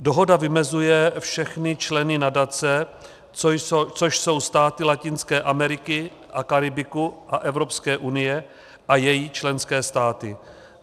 Dohoda vymezuje všechny členy nadace, což jsou státy Latinské Ameriky a Karibiku a Evropské unie a její členské státy.